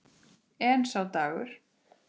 En sá dagur!